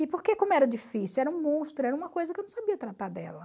E porque, como era difícil, era um monstro, era uma coisa que eu não sabia tratar dela.